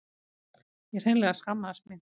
Ég hreinlega skammaðist mín.